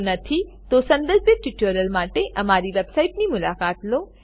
જો નથી તો સંબંધિત ટ્યુટોરીયલો માટે અમારી વેબસાઇટની મુલાકાત લો